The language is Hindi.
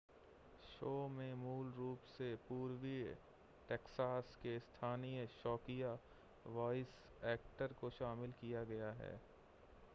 शो में मूल रूप से पूर्वी टैक्सास के स्थानीय शौकिया वॉइस एक्टर्स को शामिल किया गया है